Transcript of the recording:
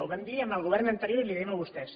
ho vam dir al govern anterior i els ho diem a vostès